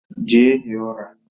Jee hie ura